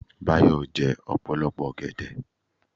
Báyọ̀ jẹ́ ọ̀pọ̀lọpọ̀ ọgẹ̀dẹ̀